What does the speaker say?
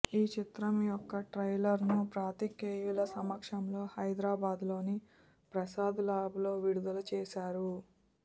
ఈ చిత్రం యొక్క ట్రైలర్ ను పాత్రికేయుల సమక్షంలో హైదరాబాద్ లోని ప్రసాద్ ల్యాబ్ లో విడుదల చేసారు